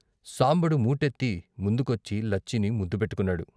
సాంబడు మూటెత్తి ముందుకొచ్చి లచ్చిని ముద్దు పెట్టుకున్నాడు.